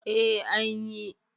eh an yi